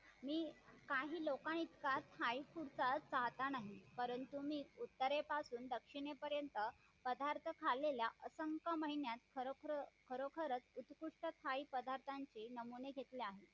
तेव्हा पहिले अक्षर तो बोलायला शिकतो ते म्हणजे आई.